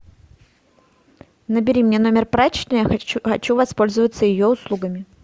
набери мне номер прачечной я хочу воспользоваться ее услугами